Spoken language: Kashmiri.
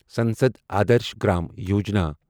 سنسد آدرش گرام یوجنا